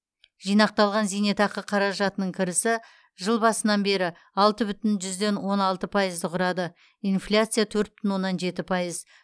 жинақталған зейнетақы қаражатының кірісі жыл басынан бері алты бүтін жүзден он алты пайызды құрады инфляция төрт бүтін оннан жеті пайыз